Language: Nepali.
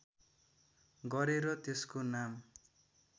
गरेर त्यसको नाम